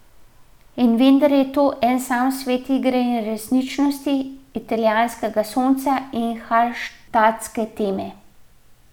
In vendar je to en sam svet igre in resničnosti, italijanskega sonca in halštatske teme.